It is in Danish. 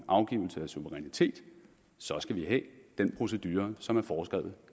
afgivelse af suverænitet så skal vi have den procedure som er foreskrevet